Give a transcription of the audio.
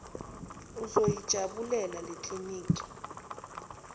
uzoyi jabulela lekliniki